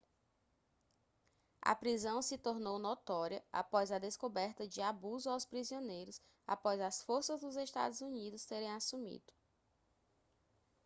a prisão se tornou notória após a descoberta de abuso aos prisioneiros após as forças dos estados unidos terem assumido